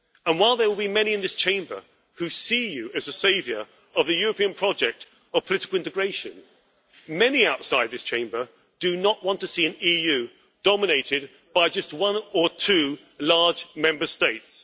While there will be many in this Chamber who see you as a saviour of the European project of political integration, many outside this Chamber do not want to see an EU dominated by just one or two large Member States.